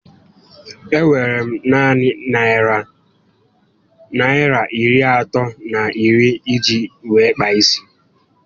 E nwere m naanị narị Naịra iri atọ na iri iji wéé kpaa isi